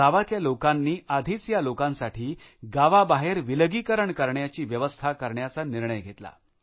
गावातल्या लोकांनी आधीच या लोकांसाठी गावाबाहेर विलगीकरण करण्याची व्यवस्था करण्याचा निर्णय घेतला